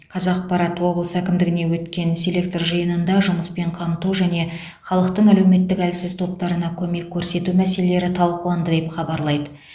қазақпарат облыс әкімдігінде өткен селектор жиынында жұмыспен қамту және халықтың әлеуметтік әлсіз топтарына көмек көрсету мәселелері талқыланды деп хабарлайды